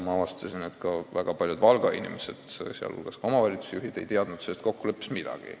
Ma avastasin, et näiteks väga paljud Valga inimesed, sh ka omavalitsusjuhid, ei teadnud sellest kokkuleppest midagi.